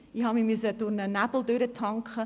Ich musste im Nebel stochern.